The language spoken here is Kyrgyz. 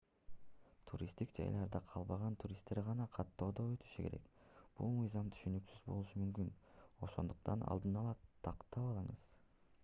туристтик жайларда калбаган туристтер гана каттоодон өтүшү керек бул мыйзам түшүнүксүз болушу мүмкүн ошондуктан алдын ала тактап алыңыз